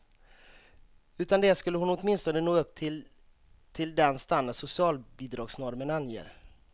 Utan det skulle hon åtminstone nå upp till till den standard socialbidragsnormen anger.